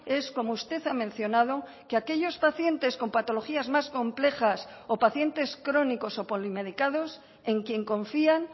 es como usted ha mencionado que aquellos pacientes con patologías más complejas o pacientes crónicos o polimedicados en quien confían